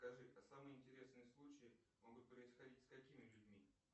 скажи а самые интересные случаи могут происходить с какими людьми